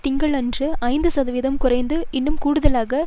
திங்களன்று ஐந்து சதவிகிதம் குறைந்து இன்னும் கூடுதலாக